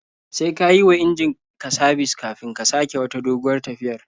Sai ka yi wa injin ka sabis kafin ka sake wata doguwar tafiyar.